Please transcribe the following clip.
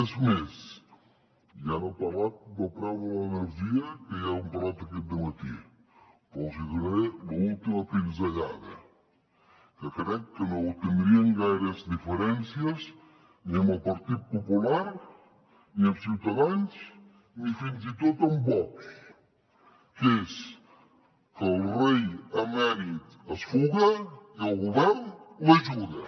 és més ja n’ha parlat del preu de l’energia que ja n’heu parlat aquest matí però els hi donaré l’última pinzellada que crec que no tindrien gaires diferències ni amb el partit popular ni amb ciutadans ni fins i tot amb vox que és que el rei emèrit es fuga i el govern l’ajuda